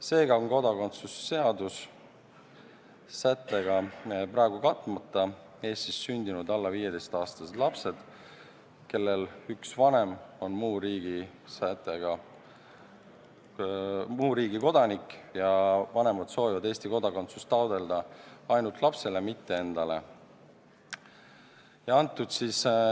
Seega on kodakondsuse seaduse sättega praegu katmata Eestis sündinud alla 15-aastased lapsed, kellel üks vanem on muu riigi kodanik ja vanemad soovivad Eesti kodakondsust taotleda ainult lapsele, mitte endale.